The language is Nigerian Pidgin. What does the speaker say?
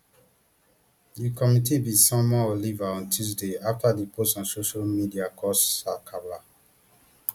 di committee bin summon oliver on tuesday afta di post on social media cause sakala